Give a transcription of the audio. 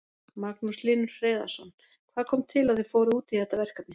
Magnús Hlynur Hreiðarsson: Hvað kom til að þið fóruð út í þetta verkefni?